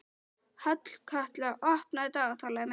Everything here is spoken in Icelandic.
Hallkatla, opnaðu dagatalið mitt.